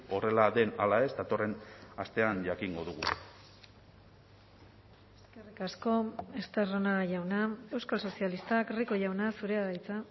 horrela den ala ez datorren astean jakingo dugu eskerrik asko estarrona jauna euskal sozialistak rico jauna zurea da hitza